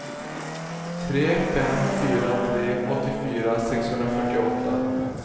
tre fem fyra tre åttiofyra sexhundrafyrtioåtta